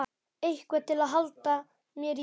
Eitthvað til að halda mér í.